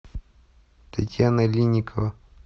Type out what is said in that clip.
татьяна линникова